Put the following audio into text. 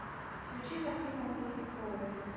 включи картину улицы крови